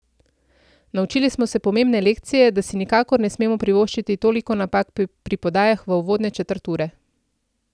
Naučili smo se pomembne lekcije, da si nikakor ne smemo privoščiti toliko napak pri podajah v uvodne četrt ure.